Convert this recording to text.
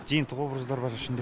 жиынтық образдар бар ішінде